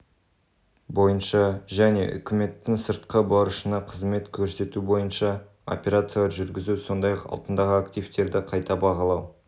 бойынша және үкіметтің сыртқы борышына қызмет көрсету бойынша операциялар жүргізу сондай-ақ алтындағы активтерді қайта бағалау